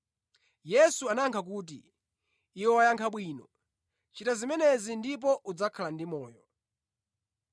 Yesu anayankha kuti, “Iwe wayankha bwino, chita zimenezi ndipo udzakhala ndi moyo.”